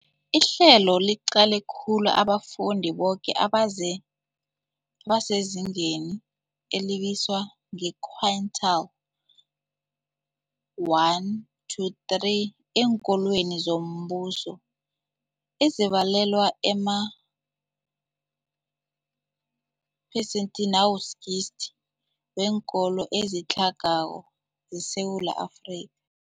Ihlelo liqale khulu abafundi boke abasezingeni elibizwa nge-quintile 1-3 eenkolweni zombuso, ezibalelwa emaphesenthi 60 weenkolo ezitlhagako zeSewula Afri